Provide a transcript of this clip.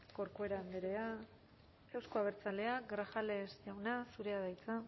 corcuera andrea euzko abertzaleak grajales jauna zurea da hitza